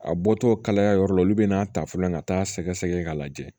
A bɔtɔ kalaya yɔrɔ la olu bɛ n'a ta fɔlɔ ka taa sɛgɛsɛgɛ k'a lajɛ